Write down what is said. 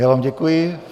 Já vám děkuji.